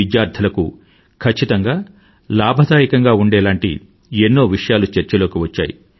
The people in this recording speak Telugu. విద్యార్థులకు ఖచ్చితంగా లాభదాయకంగా ఉండేలాంటి ఎన్నో విషయాలు చర్చలోకి వచ్చాయి